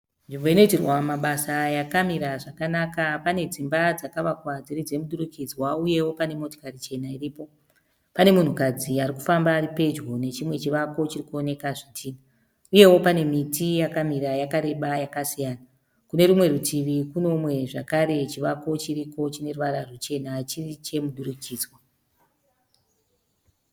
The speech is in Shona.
Nzvimbo inoitirwa mabasa aya akamira zvakanaka. Pane dzimba dzakavakwa dziri dzemudurikidzwa uyewo pane motokari chena iripo. Pane munhukadzi ari kufamba ari pedyo nechimwe chivako chiri kuonekwa zvitinha, uyewo pane miti yakamira yakareba yakasiyana. Kune rumwe rutivi kune umwe zvakare chivako chiriko chinoruvara ruchena chiri chomudurikidzwa.